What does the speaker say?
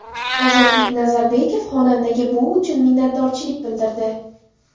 Ozodbek Nazarbekov xonandaga bu uchun minnatdorchilik bildirdi.